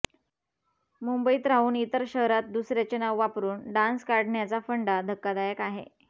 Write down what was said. मुंबईत राहून इतर शहरात दुसऱ्याचे नाव वापरून डान्स काढण्याचा फंडा धक्कादायक आहे